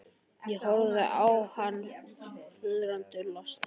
Ég horfði á hann furðu lostinn.